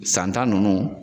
Santa ninnu